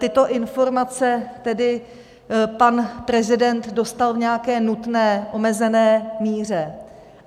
Tyto informace tedy pan prezident dostal v nějaké nutné, omezené míře.